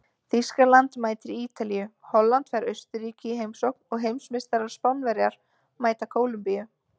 Þýskaland mætir Ítalíu, Holland fær Austurríki í heimsókn og heimsmeistarar Spánverjar mæta Kólumbíu.